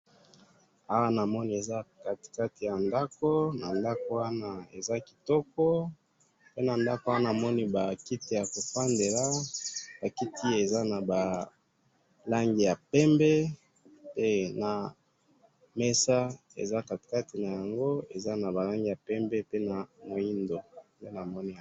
awa na moni eza katikati ya ndaku na ndaku wana eza kitoko pe na ndaku wana na moni ba kiti yako fandela ba kiti eza naba langi ya pembe pe na mesaa eza katikati nango eza naba langi ya pembe pe na muindo nde na moni yango